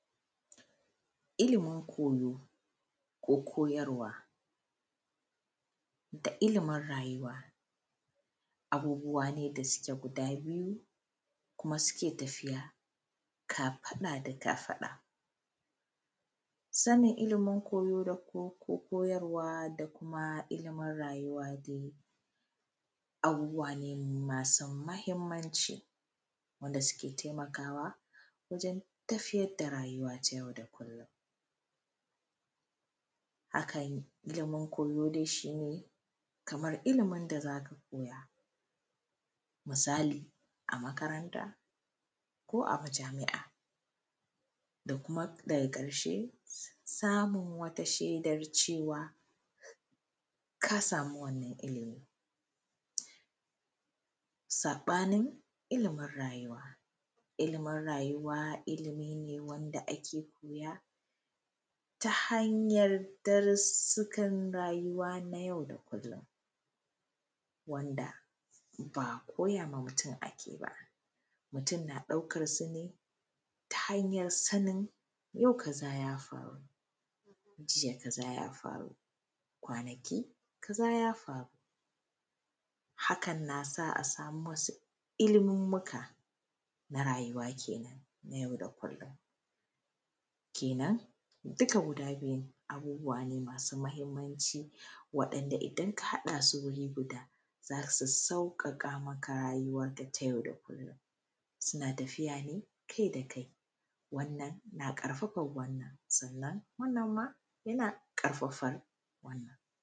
iliimin koyo ko koyarwa da ilimin rayuwa abubuwa ne da suke guda biyu kuma suke tafiya kafaɗa da kafaɗa sanin ilimin koyo da kuma koyarwa da kuma ilimin rayuwa dai abubuwa ne masu muhimanci wanda suke taimakawa wajen tafiyar da rayawa ta yau da kullum hakan ilimin koyo dai shine kaman ilimin da za ka koya misali a makaranta ko a majami’a da kuma daga ƙarshe samun wata shaidar kalmalawa ka sami wannan ilimi saɓanin ilimin rayuwa ilimin raayuwa ilimin ne wanda ake koya ta hanyan darusukan rayuwa na yau da kullum wanda ba koya ma mutum ake ba mutum na ɗaukar su ne ta hanyan sanin yau kaza ya faru gobe kaza ya faru kwanaki kaza ja faru hakan na sa a samu wasu ilimunmuka na rayuwa kenan na yau da kullum kenan dukka guda biyun abubuwa ne masu muhimanci waɗanda idan ka haɗa su guri guda za su sauƙaƙa maka rayuwanka na yau da kullum suna tafiya ne kai da kai wannan na ƙarfafan wannan sannan wannan ma ya na ƙarfafan wanna